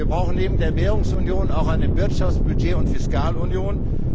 Wir brauchen neben der Währungsunion auch eine Wirtschafts Budget und Fiskalunion.